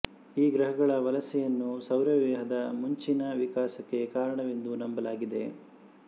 ಈ ಗ್ರಹಗಳ ವಲಸೆಯನ್ನು ಸೌರವ್ಯೂಹದ ಮುಂಚಿನ ವಿಕಾಸಕ್ಕೆ ಕಾರಣವೆಂದು ನಂಬಲಾಗಿದೆ